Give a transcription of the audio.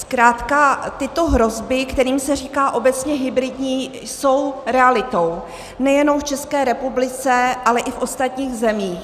Zkrátka tyto hrozby, kterým se říká obecně hybridní, jsou realitou nejenom v České republice, ale i v ostatních zemích.